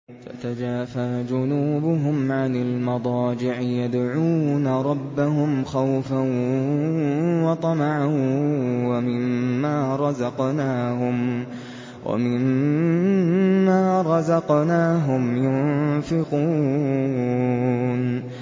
تَتَجَافَىٰ جُنُوبُهُمْ عَنِ الْمَضَاجِعِ يَدْعُونَ رَبَّهُمْ خَوْفًا وَطَمَعًا وَمِمَّا رَزَقْنَاهُمْ يُنفِقُونَ